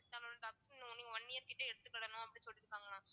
Siddha mam நீங்க one year கிட்ட எடுத்துக்கிடணும் அப்படின்னு சொல்லிருக்காங்க mam